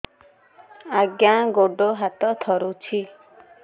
ଆଜ୍ଞା ଗୋଡ଼ ହାତ ଥରୁଛି